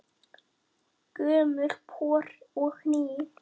Gömul pör og ný.